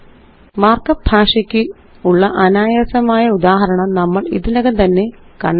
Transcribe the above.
markup ഭാഷയ്ക്കുള്ള അനായസമായ ഉദാഹരണം നമ്മള് ഇതിനകം തന്നെ കണ്ടതാണ്